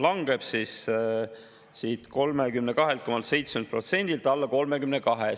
Langeb 32,7%-lt alla 32%.